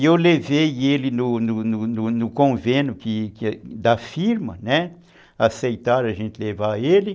E eu levei ele no no no no convênio da firma, aceitaram a gente levar ele.